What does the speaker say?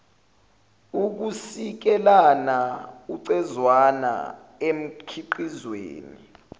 ukusikelana ucezwana emkhiqizweni